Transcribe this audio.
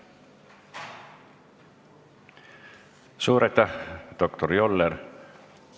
Suur aitäh, doktor Joller!